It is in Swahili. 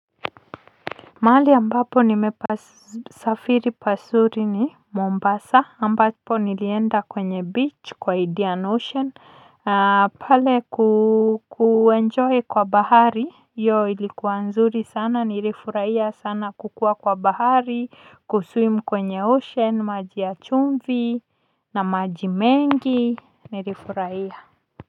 Mahali ambapo nimepasafiri pazuri ni Mombasa ambapo nilienda kwenye beach kwa Indian Ocean pale kuenjoy kwa bahari hiyo ilikuwa nzuri sana nilifurahia sana kukuwa kwa bahari kuswim kwenye ocean maji ya chumvi na maji mengi nilifurahia.